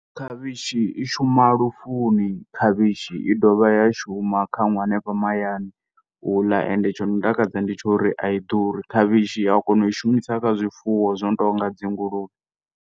Khavhishi i shuma lufuni, khavhishi i dovha ya shuma khaṅwe hanefha mahayani uḽa, ende tshi no takadza ndi tsha uri ai ḓuri. Khavhishi uya kona u i shumisa kha zwifuwo zwi no tonga dzi nguluvhe.